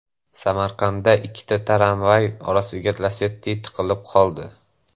Samarqandda ikkita tramvay orasiga Lacetti tiqilib qoldi .